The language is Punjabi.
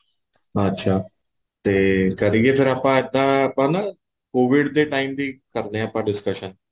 ਅੱਛਾ ਤੇ ਕਰੀਏ ਫੇਰ ਅੱਜ ਤਾਂ ਆਪਾਂ covid ਦੇ time ਦੀ ਕਰਦੇ ਹਾਂ ਆਪਾਂ discussion